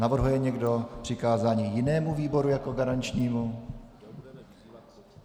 Navrhuje někdo přikázání jinému výboru jako garančnímu?